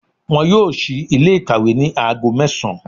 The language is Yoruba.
Wọn yóò sí Ilé ìkàwé ní aago mẹ́sàn án